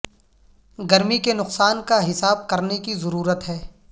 گرمی کے نقصان کا حساب کرنے کی ضرورت ہے